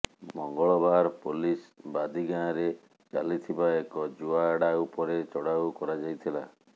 ମଙ୍ଗଳବାର ପୋଲିସ ବାଦି ଗାଁରେ ଚାଲଥିବା ଏକ ଜୁଆ ଆଡ୍ଡା ଉପରେ ଚଢାଉ କରାଯାଇଥିଲା